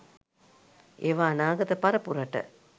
ඒවා අනාගත පරපුරට